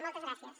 moltes gràcies